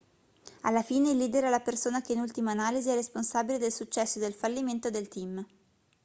alla fine il leader è la persona che in ultima analisi è responsabile del successo e del fallimento del team